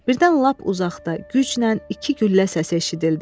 Birdən lap uzaqda güclə iki güllə səsi eşidildi.